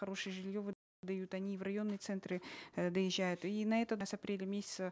хорошее жилье они и в районные центры э доезжают и на это с апреля месяца